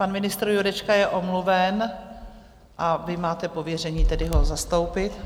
Pan ministr Jurečka je omluven, a vy máte pověření tedy ho zastoupit.